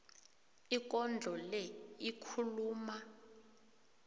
ikondlo le ikhuluma